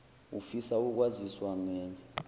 ufisa ukwaziswa ngenye